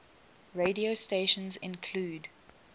radio stations include